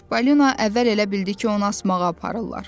Çipollino əvvəl elə bildi ki, onu asmağa aparırlar.